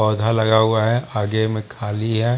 पोधा लगा हुआ है। आगे में खाली है।